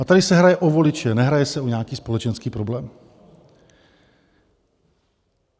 A tady se hraje o voliče, nehraje se o nějaký společenský problém.